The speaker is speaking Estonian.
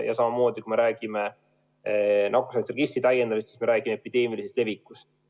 Ja samamoodi, kui me räägime nakkushaiguste registri täiendamisest, siis me räägime epideemilisest levikust.